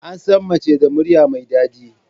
Ansan Mace da murya mai dadi